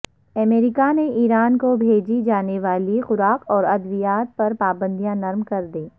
امریکا نے ایران کو بھیجی جانے والی خوراک اور ادویات پرپابندیاں نرم کر دیں